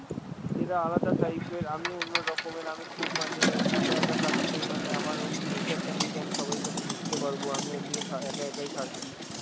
এরা আলাদা type এর, আমি অন্যরকমের, আমি খুব মানে একা একা থাকতেই মানে আমার অমনি nature টা নেই যে আমি সবাই সাথে মিশতে পারবো, আমি অমনিই থা~ একা একাই থাকি,